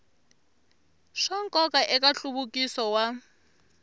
swa nkoka eka nhluvukiso wa